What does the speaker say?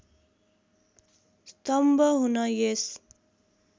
स्तम्भ हुन यस